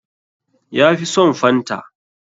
Ya fi son fanta.